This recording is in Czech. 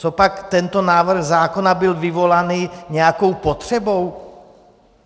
Copak tento návrh zákona byl vyvolaný nějakou potřebou?